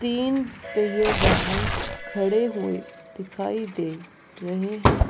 तीन पहिए वाहन खड़े हुए दिखाई दे रहे है।